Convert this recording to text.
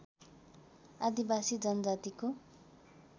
आदिवासी जनजातिको